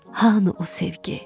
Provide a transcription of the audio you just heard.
Hanı o sevgi?